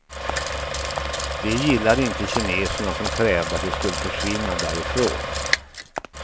Det gillade inte kineserna som krävde att de skulle försvinna därifrån.